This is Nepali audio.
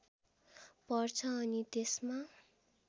पर्छ अनि त्यसमा